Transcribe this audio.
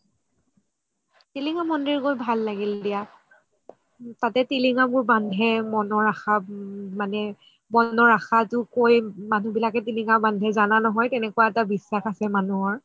টিলিঙা মন্দিৰ গৈ ভাল লাগিল দিয়া তাতে টিলিঙা বোৰ বান্ধে মনৰ আশা মানে মনৰ আশাটো কৈ মানুহ বিলাকে টিলিঙা বান্ধে যানা নহয় কেনেকুৱা এটা বিশ্বাস আছে মানুহৰ